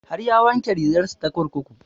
Har ya wanke rigar sa ta kurkuku